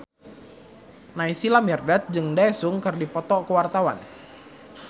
Naysila Mirdad jeung Daesung keur dipoto ku wartawan